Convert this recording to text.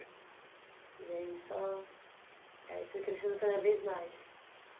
E aí só, aí foi crescendo cada vez mais